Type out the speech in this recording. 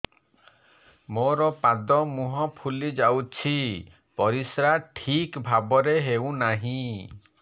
ମୋର ପାଦ ମୁହଁ ଫୁଲି ଯାଉଛି ପରିସ୍ରା ଠିକ୍ ଭାବରେ ହେଉନାହିଁ